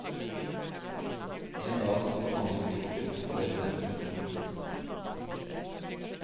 En dag skal du angre bittert det du nettopp gjorde.